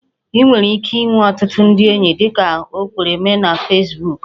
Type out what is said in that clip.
Ị nwere ike inwe ọtụtụ ndị enyi dịka o kwere mee na Fesbuku